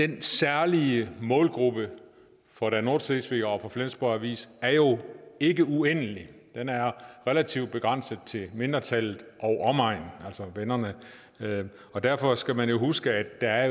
den særlige målgruppe for der nordschleswiger og for flensborg avis er jo ikke uendelig den er relativt begrænset til mindretallet og omegn altså vennerne og derfor skal man jo huske at